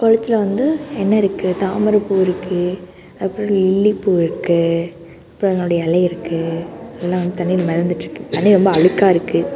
கொளத்துல வந்து என்ன இருக்கு தாமர பூ இருக்கு அப்புறம் லில்லி பூ இருக்கு இப்ப என்னுடைய எலை இருக்கு எல்லாம் வந்து தண்ணில மெதந்துட்டு இருக்கு தண்ணி ரொம்ப அழுக்கா இருக்கு.